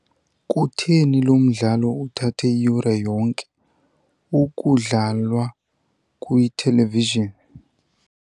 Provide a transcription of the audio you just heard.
Kutheni lo mdlalo uthathe iyure yonke ukudlalwa kwithelevizhini?